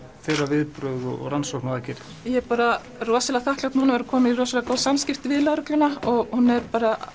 þeirra viðbrögð og rannsóknaraðgerðir ég er bara rosalega þakklát núna að vera komin í rosalega góð samskipti við lögregluna hún er bara